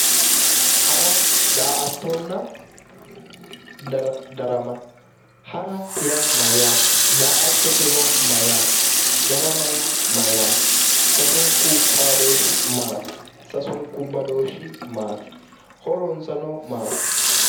Hara daa"attonna darama, hara yaa mayyaate? daa'attote yaa mayyaate? darama yaa mayyaate? sasunku xaadooshshi maati? sasunku badooshshibmaati? horonsano maati?